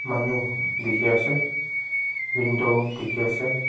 manu dekhi ase window dekhi ase.